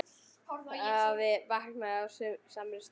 Afi vaknaði á samri stundu.